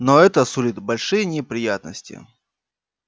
но это сулит большие неприятности